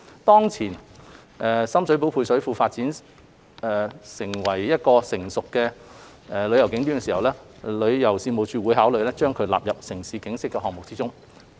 當前深水埗配水庫發展為成熟的旅遊景點時，旅遊事務署會考慮將其納入"城市景昔"項目之中。